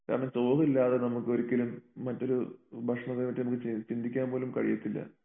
കാരണം ചോറില്ലാതെ നമുക്കൊരിക്കലും മറ്റൊരു ഭക്ഷണത്തിനെ പറ്റി നമുക്ക് ചി ചിന്തിക്കാൻപോലും കഴിയത്തില്ല